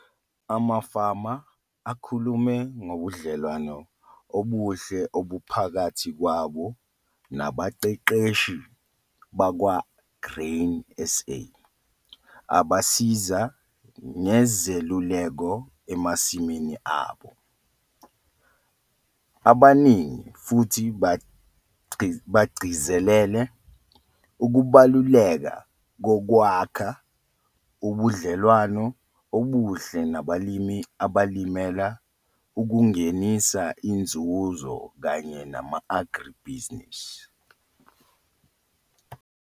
Amafama akhulume ngobudlelwano obuhle obuphakathi kwabo nabaqeqeshi bakwa-Grain SA ababasiza ngezeluleko emasimini abo. Abaningi futhi bagcizelele ukubaluleka kokwakha ubudlelwano ubuhle nabalimi abalimela ukungenisa inzuzo kanye nama-agri-businesses.